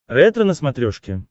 ретро на смотрешке